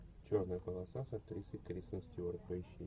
черная полоса с актрисой кристен стюарт поищи